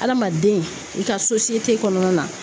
Adamaden i ka kɔnɔna na